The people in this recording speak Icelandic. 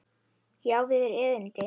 Ég á við yður erindi.